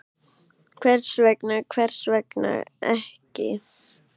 Hvers vegna, hvers vegna ekki?